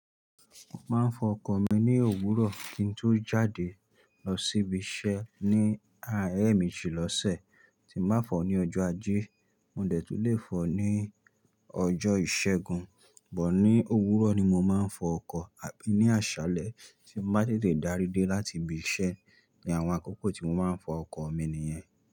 Mo máa ń fọ ọkọ̀ mi ní òwúrọ̀ kí n tó jáde lọ síbi iṣẹ́ ní àárín ẹméjì lọ́sẹ̀. Tí mo bá fọ̀ ọ́ ní ọjọ́ ajé, mo dẹ̀ tún lè fọ̀ ní ọjọ́ ìṣẹ́gun. But ní òwúrọ̀ ni mo máa ń fọ ọkọ̀ àbí ní àṣálẹ́ tí mo bá tètè dárí dé láti ibi iṣẹ́ ni àwọn àkókò tí mo máa ń fọ ọkọ̀ mi nìyẹn.